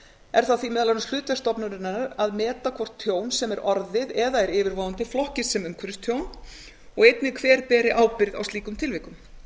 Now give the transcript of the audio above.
er það því meðal annars hlutverk stofnunarinnar að meta hvort tjón sem er orðið eða er yfirvofandi flokkist sem umhverfistjón og einnig hver beri ábyrgð í slíkum tilvikum